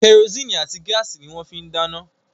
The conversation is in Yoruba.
Kẹrosíìnì àti gáàsì ni wọ́n fín ń dáná